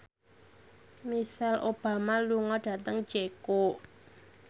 Michelle Obama lunga dhateng Ceko